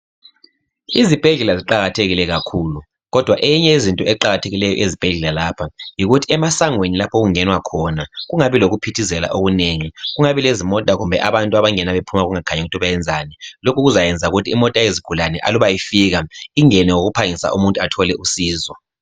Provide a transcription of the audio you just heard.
Izibhedlela ziqakathekile kakhulu kodwa eyinye yezinto eqakathekileyo ezibhedlela lapha yikuthi emasangweni lapha okungenwa khona kungabi lokuphithizela okunengi kungabi lezimota kumbe abantu bengena bephuma kungakhanyi into abayenzayo lokhu kuzayenza ukuthi imota yezigulane aluba ifika ingene ngokuphangisa umuntu athole usizo.